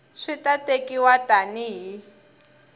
swi ta tekiwa tani hi